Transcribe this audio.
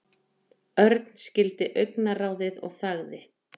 Örn skildi augnaráðið og þagði.